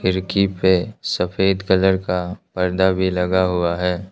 खिरकी पे सफेद कलर का पर्दा भी लगा हुआ है।